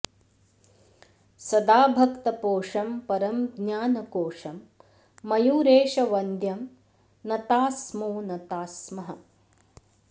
सदा भक्तपोषं परं ज्ञानकोशं मयूरेशवंद्यं नताः स्मो नताः स्मः